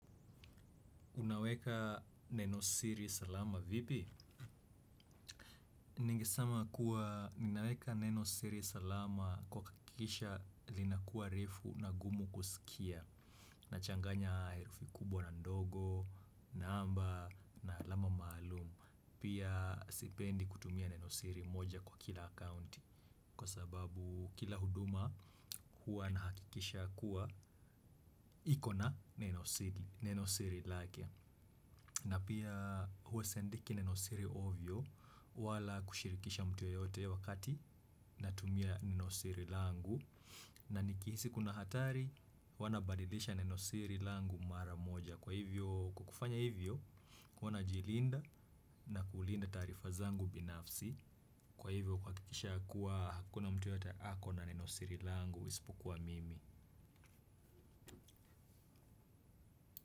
Unaweka neno siri. Salama vipi. Ningesema kuwa ninaweka neno siri salama kwa kuhakikisha linakuwa refu na gumu kusikia. Nachanganya herufi kubwa na ndogo, namba na alama maalumu. Pia sipendi kutumia neno siri moja kwa kila akaunti kwa sababu kila huduma huwa na hakikisha kuwa ikona neno siri lake. Na pia huwa siandiki neno siri ovyo wala kushirikisha mtu yeyote wakati na tumia neno siri langu na nikihisi kuna hatari huwa nabadilisha neno siri langu mara moja. Kwa hivyo kukufanya hivyo kuwa najilinda na kulinda taarifa zangu binafsi. Kwa hivyo kuhakikisha kuwa hakuna mtu yeyote ako na neno siri langu isipokuwa mimi.